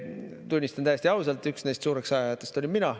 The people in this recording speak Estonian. Tunnistan täiesti ausalt, üks neist suureks ajajatest olin mina.